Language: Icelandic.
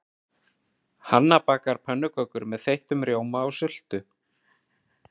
Hanna bakar pönnukökur með þeyttum rjóma og sultu.